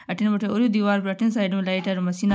अठीन बठीन ओरु दिवार पर अठीन साइड में लाइट री मशीना --